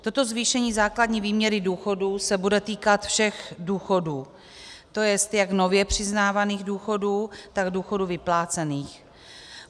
Toto zvýšení základní výměny důchodů se bude týkat všech důchodů, to jest jak nově přiznávaných důchodů, tak důchodů vyplácených.